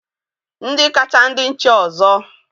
Ndị kacha ndị nche ọzọ